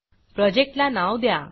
प्रोजेक्टला नाव द्या